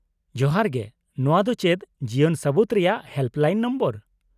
-ᱡᱚᱦᱟᱨ ᱜᱮ , ᱱᱚᱶᱟ ᱫᱚ ᱪᱮᱫ ᱡᱤᱭᱚᱱ ᱥᱟᱹᱵᱩᱛ ᱨᱮᱭᱟᱜ ᱦᱮᱞᱯᱞᱟᱭᱤᱱ ᱱᱚᱢᱵᱚᱨ ?